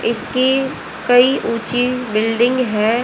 इसकी कई ऊंची बिल्डिंग है।